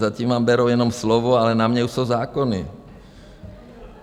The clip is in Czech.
Zatím vám berou jenom slovo, ale na mě už jsou zákony.